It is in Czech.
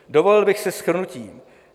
Dovolil bych si shrnutí.